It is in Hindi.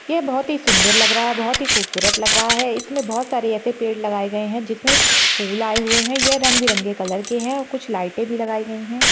ये बहुत ही सुंदर लग रहा है बहुत ही खूबसूरत लग रहा है इसमें बहुत सारे ऐसे पेड़ लगाए गये है जिस मे फूल आए हुए है ये रंग बिरंगे कलर के है और कुछ लाइटे भी लगाई गई है।